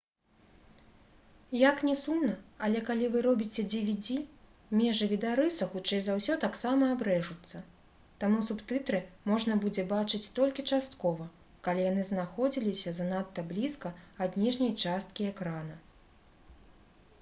як ні сумна але калі вы робіце dvd межы відарыса хутчэй за ўсё таксама абрэжуцца таму субтытры можна будзе бачыць толькі часткова калі яны знаходзіліся занадта блізка ад ніжняй часткі экрана